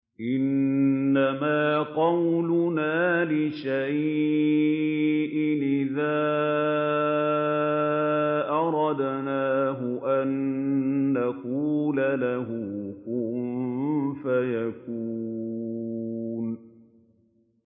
إِنَّمَا قَوْلُنَا لِشَيْءٍ إِذَا أَرَدْنَاهُ أَن نَّقُولَ لَهُ كُن فَيَكُونُ